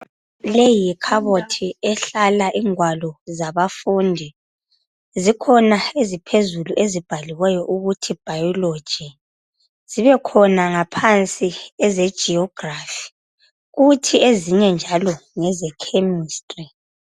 leyi yikhabothi ehlala ingwalo zabafundi zikhona eziphezulu ezibhaliweyo ukuthi bhayilogi zibekhana ngaphansi eze geography kubekhona leze chemistry